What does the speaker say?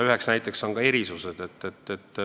Üks näide on erisused.